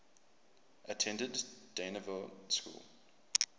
attended dynevor school